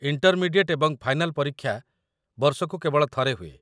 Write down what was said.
intermediate ଏବଂ final ପରୀକ୍ଷା ବର୍ଷକୁ କେବଳ ଥରେ ହୁଏ